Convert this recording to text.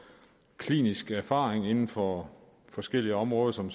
klinisk erfaring inden for forskellige områder som